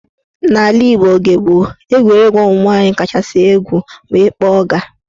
N'ala Igbo oge gboo, egwuregwu ụmụnwaanyị kachasị egwu bụ ịkpọ ọga.